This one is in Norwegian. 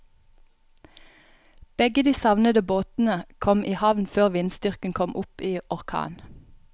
Begge de savnede båtene kom i havn før vindstyrken kom opp i orkan.